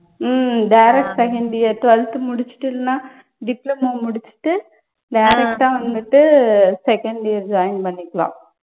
உம் direct second year twelfth முடிச்சுட்டு இல்லன்னா diploma முடிச்சுட்டு direct ஆ வந்துட்டு second year join பண்ணிக்கலாம்.